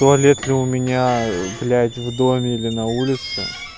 туалет ли у меня блять в доме или на улице